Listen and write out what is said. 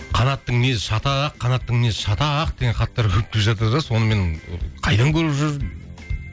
қанаттың мінезі шатақ қанаттың мінезі шатақ деген хаттар көп келіп жатыр да соны мен қайдан көріп жүр